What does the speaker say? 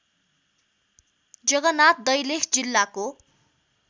जगनाथ दैलेख जिल्लाको